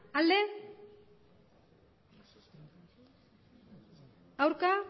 emandako